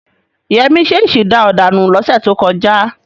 Yẹmí ṣèṣì da ọ̀dà nù lọ́sẹ̀ tó kọjá.